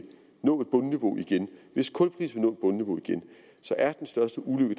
nå et bundniveau igen så er den største ulykke